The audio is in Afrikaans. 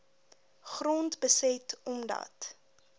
grond beset omdat